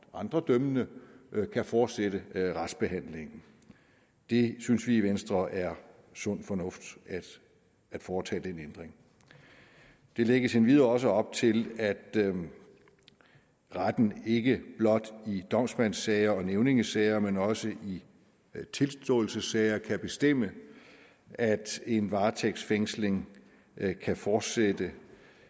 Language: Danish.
og andre dømmende kan fortsætte restbehandlingen det synes vi i venstre er sund fornuft at foretage den ændring der lægges endvidere også op til at retten ikke blot i domsmandssager og nævningesager men også i tilståelsessager kan bestemme at en varetægtsfængsling kan fortsætte